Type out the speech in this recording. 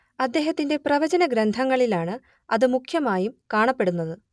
അദ്ദേഹത്തിന്റെ പ്രവചനഗ്രന്ഥങ്ങളിലാണ് അത് മുഖ്യമായും കാണപ്പെടുന്നത്